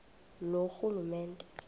loorhulumente